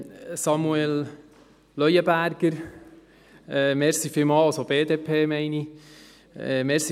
Samuel Leuenberger, vielen Dank, also die BDP meine ich.